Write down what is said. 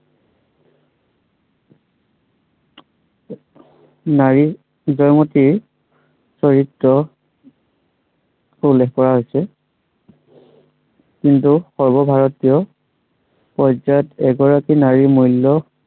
নাৰীত জয়মতীৰ চৰিত্ৰক উল্লেখ কৰা হৈছে কিন্তু সৰ্ব ভাৰতীয় পৰ্যায়ত এগৰাকী নাৰীৰ মূল্য়